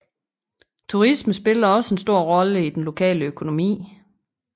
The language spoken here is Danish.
Turisme spiller også en stor rolle i den lokale økonomi